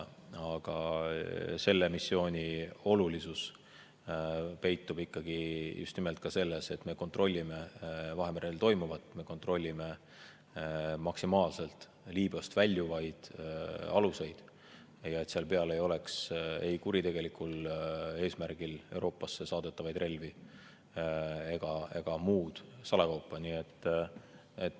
Aga selle missiooni olulisus peitub just nimelt selles, et me kontrollime Vahemerel toimuvat, me maksimaalselt kontrollime Liibüast väljuvaid aluseid, ega nende peal ei ole kuritegelikul eesmärgil Euroopasse saadetavaid relvi ega muud salakaupa.